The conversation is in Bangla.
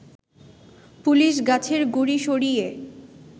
পুলিশ গাছের গুড়ি সরিয়ে